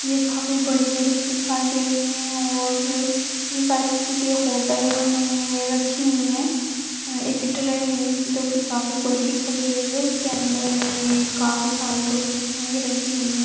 यह काफी बड़ी-बड़ी दिखाई दे रही है और यह शायद किसी होटल में रखी हुई है एक ट्रे है जो की काफी बड़ी दिखाई दे रही है उसके अंदर यह काफी सारी जो फिश रखी हुई है।